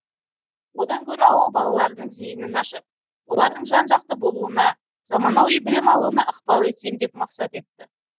одан гөрі ауыл балаларының зейінін ашып олардың жан жақты болуына замануи білім алуына ықпал етсем деп мақсат етті